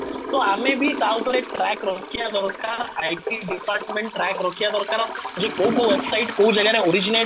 ତ ଆମେ ବି ତା ଉପରେ ଟ୍ରାକ ରଖିବା ଦରକାର IT department ଟ୍ରାକ ରଖିବା ଦରକାର ଯେ କୋଉ କୋଉ website କୋଉ ଜାଗାରେ originate